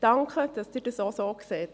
Danke, dass Sie dies auch so sehen.